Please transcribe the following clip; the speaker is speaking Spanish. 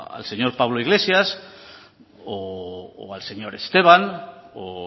al señor pablo iglesias o al señor esteban o